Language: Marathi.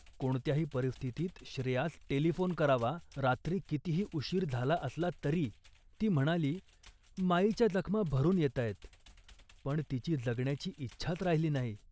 कोणत्याही परिस्थितीत श्रेयास टेलिफोन करावा, रात्री कितीही उशीर झाला असला तरी. ती म्हणाली, "माईच्या जखमा भरून येताहेत, पण तिची जगण्याची इच्छाच राहिली नाही